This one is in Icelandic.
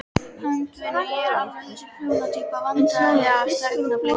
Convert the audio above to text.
Handavinnu, ég er ekki alveg þessi prjóna týpa Vandræðalegasta augnablik?